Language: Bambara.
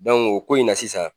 o ko in na sisan.